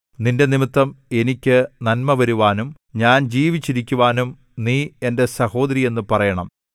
നിന്റെനിമിത്തം എനിക്ക് നന്മവരുവാനും ഞാൻ ജീവിച്ചിരിക്കുവാനും നീ എന്റെ സഹോദരിയെന്നു പറയണം